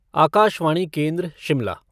आकाशवाणी केन्द्र शिमला